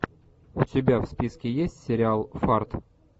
у тебя в списке есть сериал фарт